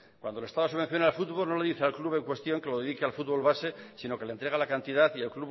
cuando el estado subvenciona el fútbol no le dice al club en cuestión que lo dedique al fútbol base sino que le entrega la cantidad y el